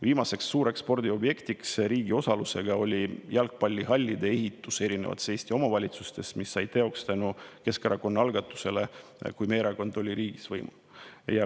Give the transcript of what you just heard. Viimased riigi osalusega suured spordiobjektid olid jalgpallihallid erinevates Eesti omavalitsustes, mille ehitamine sai teoks tänu Keskerakonna algatusele siis, kui meie erakond oli riigis võimul.